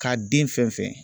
K'a den fɛn fɛn